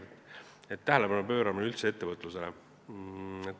Näiteks, üldse tähelepanu pööramine ettevõtlusele.